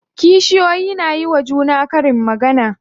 Kishiyoyin na yiwa juna karin magana.